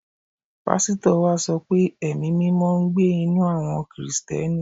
Pásítọ̀ wa sọ pé Ẹ̀mí-mímọ ń gbé ninú àwọ Kìrìsìtíẹ́nì